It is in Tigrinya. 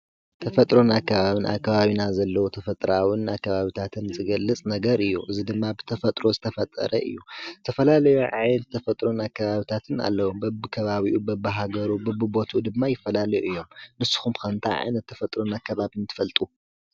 ተፈጥሮን ኣከባብን ኣብ ከባቢና ዘለዉ ተፈጥሮኣውን ኣካባብታት ዘለዉ ዝገልፅ ነገር እዩ፡፡ እዚ ድማ ብተፈጥሮ ዝተፈጠረ እዩ፡፡ ዝተፈላለዩ ዓይነት ተፈጥሮ ኣከባብታትን ኣለዉ፡፡ በብከባቢኡ በብሃገሩ በብቦትኡ ድማ ይፈላለዩ እዮም፡፡ ንስኹም ከ ታይ ዓይነት ተፈጥሮን ኣከባብን ትፈልጡ?